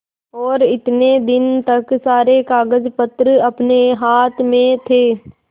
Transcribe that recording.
और इतने दिन तक सारे कागजपत्र अपने हाथ में थे